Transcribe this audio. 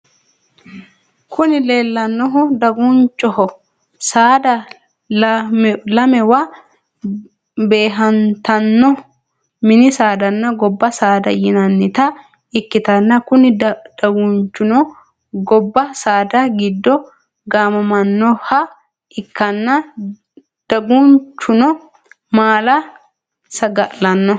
Kuni leellannohu dagunchoho. Saada lamewa beehantanno mini saadanna gobba saada yinannita ikkitanna kuni dagunchuno gobba saada giddo gaamamannoha ikkanna dagunchuno maala saga'lanno.